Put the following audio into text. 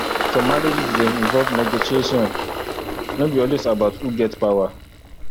some marriages dey involve negotiation no be always about who get power